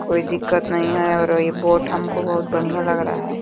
कोई दिक्कत नहीं है और ये बोट हमको बहुत बढ़ियां लग रहा है।